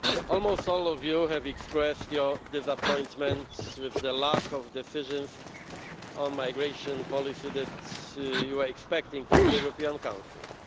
Almost all of you have expressed your disappointment with the lack of decisions on migration policy that you were expecting from the European Council.